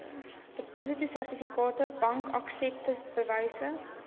depositosertifikate bankaksepte bewyse